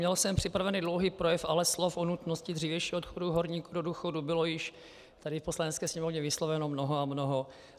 Měl jsem připravený dlouhý projev, ale slov o nutnosti dřívějšího odchodu horníků do důchodu bylo již tady v Poslanecké sněmovně vysloveno mnoho a mnoho.